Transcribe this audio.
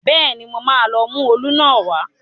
Bẹ́ẹ̀ni, mo máa lọ mú òòlù náà wá